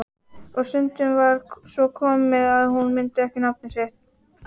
Og stundum var svo komið að hún mundi ekki nafnið sitt.